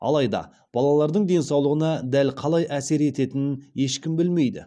алайда балалардың денсаулығына дәл қалай әсер ететінін ешкім білмейді